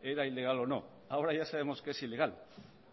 era ilegal o no ahora ya sabemos que es ilegal